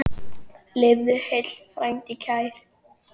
Lifðu heill, frændi kær!